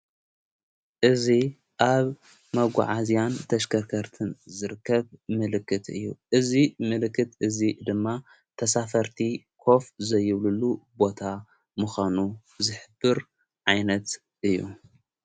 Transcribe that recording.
እዙ ኣብ መጕዓዝያን ተሽከርከርትን ዝርከብ ምልክት እዩ እዙይ ምልክት እዙይ ድማ ተሳፈርቲ ኮፍ ዘይብልሉ ቦታ ምዃኑ ዝሕቡር ዓይነት እዩ።